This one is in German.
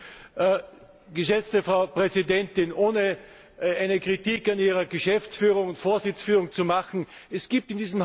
Geschätzte Frau Präsidentin! Ohne eine Kritik an Ihrer Geschäftsführung und Vorsitzführung zu machen, es gibt in diesem Haus ein paar